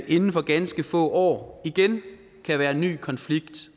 inden for ganske få år igen kan være en ny konflikt